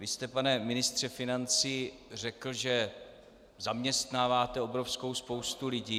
Vy jste, pane ministře financí, řekl, že zaměstnáváte obrovskou spoustu lidí.